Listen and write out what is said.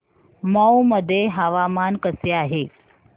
मौ मध्ये हवामान कसे आहे